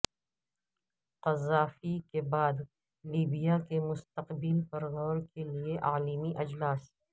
Gaddafi کے بعد Libya کے مستقبل پر غور کے لیے عالمی اجلاس